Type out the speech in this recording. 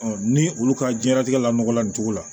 ni olu ka diɲɛnatigɛ la nɔgɔ la nin cogo la